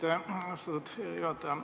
Aitäh, austatud juhataja!